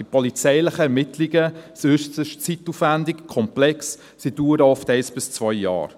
Die polizeilichen Ermittlungen sind äusserst zeitaufwendig und komplex, sie dauern oft ein bis zwei Jahre.